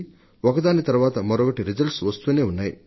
ఒకదాని తరువాత మరొకటిగా పరీక్షా ఫలితాలు వస్తూనే ఉన్నాయి